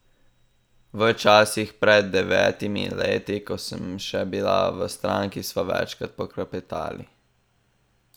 V časih pred devetimi leti, ko sem še bila v stranki, sva večkrat poklepetali.